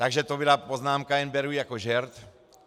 Takže to byla poznámka, jen beru jako žert.